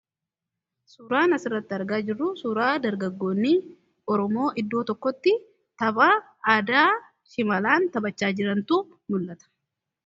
suuraan asirratti argaa jiru suuraa dargaggoonni oromoo iddoo tokkotti taphaa aadaa shimalaan taphachaa jirantu nul'ata